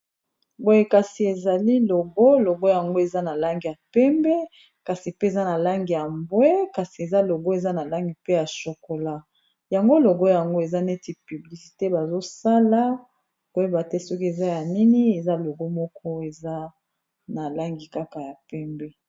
Boye kasi ezali logo, logo yango eza na langi ya pembe kasi pe eza na langi ya mbwe kasi eza logo eza na langi pe ya chokola yango logo yango eza neti publisite bazosala koyeba te soki eza ya nini eza logo moko eza na langi kaka ya pembe.